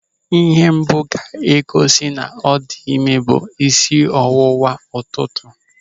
Ịhe mbụ ga-egosi na ọ dị ịme ga-abụ isi ọwụwa ụtụtụ.